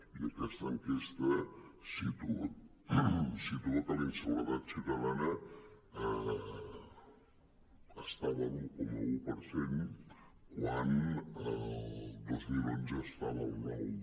i aquesta enquesta situa que la inseguretat ciutadana estava a l’un coma un per cent quan el dos mil onze estava al nou